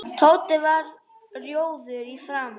Tóti varð rjóður í framan.